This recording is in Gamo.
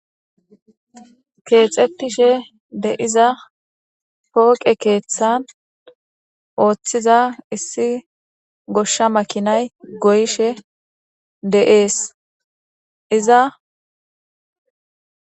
Kexetishe de'iza poqe kethan othiza issi gosha makinay goyishe de'ese iza